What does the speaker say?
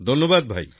ধন্যবাদ ভাই